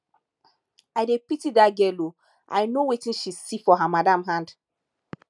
i dey pity dat girl ooo i know wetin she see for her madam hand